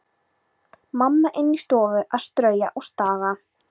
Mamma inni í stofu að strauja og staga.